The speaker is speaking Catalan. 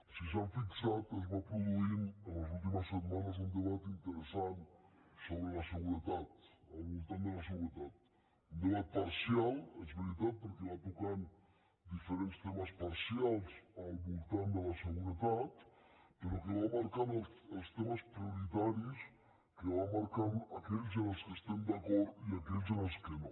si s’hi han fixat es va produint en les últimes setmanes un debat interessant sobre la seguretat al voltant de la seguretat un debat parcial és veritat perquè va tocant diferents temes parcials al voltant de la seguretat però que va marcant els temes prioritaris que va marcant aquells en què estem d’acord i aquells en què no